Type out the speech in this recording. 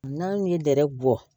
N'an ye dɛrɛ bɔ